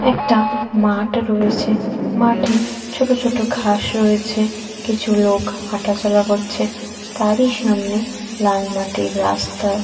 একটা মাঠে রয়েছে। মাঠে ছোট ছোট ঘাস রয়েছে। কিছু লোক হাঁটাচলা করছে। তারই সামনে লালমাটির রাস্তা।